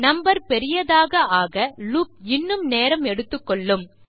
number பெரியதாக ஆக loop இன்னும் நேரம் எடுத்துக்கொள்ளும்